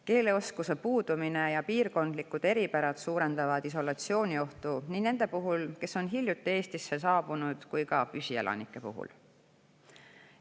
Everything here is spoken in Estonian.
Keeleoskuse puudumine ja piirkondlikud eripärad suurendavad isolatsiooniohtu nii nende puhul, kes on hiljuti Eestisse saabunud, kui ka püsielanike puhul.